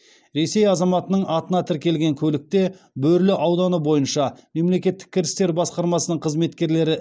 ресей азаматының атына тіркелген көлікте бөрлі ауданы бойынша мемлекеттік кірістер басқармасының қызметкерлері